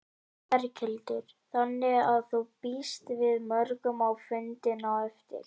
Berghildur: Þannig að þú býst við mörgum á fundinn á eftir?